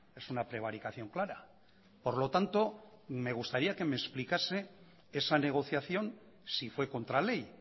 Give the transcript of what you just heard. es una prevaricación clara por lo tanto me gustaría que me explicase esa negociación si fue contra ley